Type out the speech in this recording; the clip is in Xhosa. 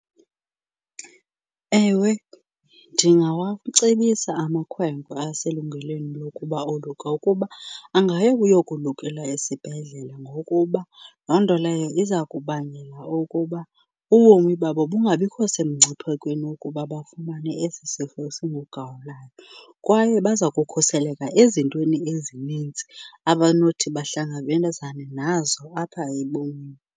Ewe, ndingawacebisa amakhwenkwe aselungelweni lokuba oluke ukuba angaya ukuyokulekela esibhedlela ngokuba loo nto leyo iza kubangela okuba ubomi babo bungabikho semngciphekweni wokuba bafumane esi sifo singugawulayo. Kwaye baza kukhuseleka ezintweni ezininzi abanothi bahlangabezana nazo apha ebomini.